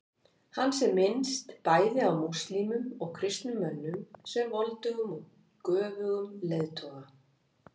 Hans er minnst, bæði af múslímum og kristnum mönnum, sem voldugum og göfugum leiðtoga.